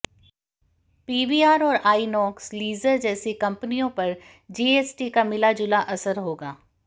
PVR और INOX leisure जैसी कंपनियों पर जीएसटी का मिलाजुला असर होगा